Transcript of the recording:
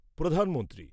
প্রধানমন্ত্রী